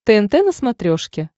тнт на смотрешке